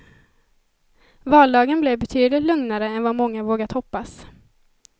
Valdagen blev betydligt lugnare än vad många vågat hoppas.